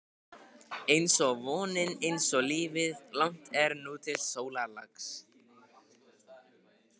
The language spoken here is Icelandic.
einsog vonin, einsog lífið- langt er nú til sólarlags.